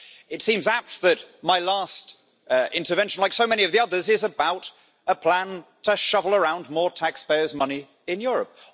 It seems apt that my last intervention, like so many of the others, is about a plan to shovel around more taxpayers' money in Europe.